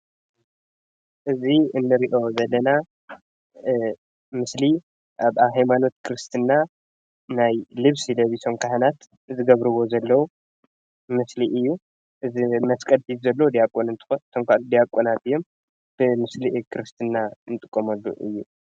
እዚ እንሪኦ ዘለና ምስሊ ኣብ ናይ ሃይማኖት ክርስትና ናይ ልብሲ ለቢሶም ካህናት ዝገብርዎ ዘለዉ ምስሊ እዩ። እዚ መስቀል ሒዙ ዘሎ ዲያቆን እንትኮን እቶም ካልኦት ዲያቆናት እዮም ።እቲ ምስሊ ክርስትና ንጥቀመሉ እዩ።